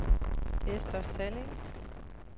Ester Salling